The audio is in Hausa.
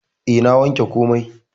E, na wanke komai.